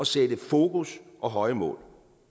sætte fokus og høje mål